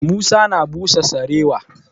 Musa na busa sarewa.